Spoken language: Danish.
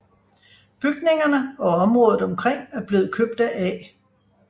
Bygningerne og området omkring er blevet købt af A